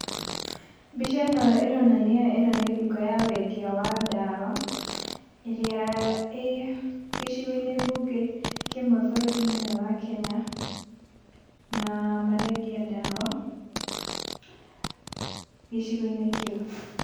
Mbica ĩno ĩronania ĩno nĩ nduka ya wendia wa ndawa ĩria ĩ gĩcigo-inĩ mbunge kĩmwe bũrũrinĩ wa Kenya na marendia ndawa gĩcigo-inĩ kĩu.